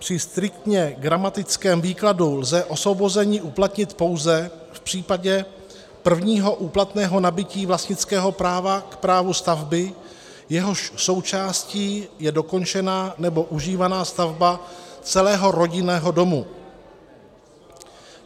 Při striktně gramatickém výkladu lze osvobození uplatnit pouze v případě prvního úplatného nabytí vlastnického práva k právu stavby, jehož součástí je dokončená nebo užívaná stavba celého rodinného domu.